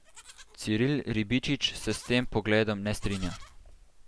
Ciril Ribičič se s tem pogledom ne strinja.